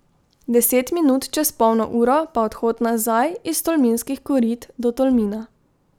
Deset minut čez polno uro pa odhod nazaj iz Tolminskih korit do Tolmina.